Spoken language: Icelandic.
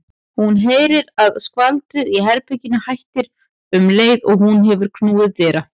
Hún heyrir að skvaldrið í herberginu hættir um leið og hún hefur knúið dyra.